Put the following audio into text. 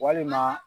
Walima